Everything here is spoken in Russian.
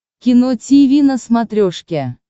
кино тиви на смотрешке